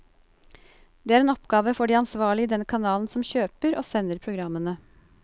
Det er en oppgave for de ansvarlige i den kanalen som kjøper og sender programmene.